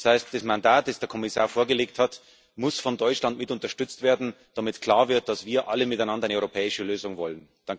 Das heißt Das Mandat, das der Kommissar vorgelegt hat, muss von Deutschland mit unterstützt werden, damit klar wird, dass wir alle miteinander eine europäische Lösung wollen.